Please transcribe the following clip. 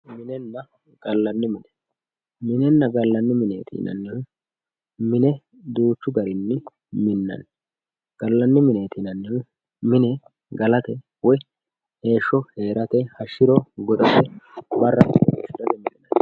minenna gallanni mine minenna gallanni mineeti yinannihu mine duuchu garini minnani gallanni mineeti yinannihu mine galate woyi heesho heerata hashshiro goxate bara caa'late.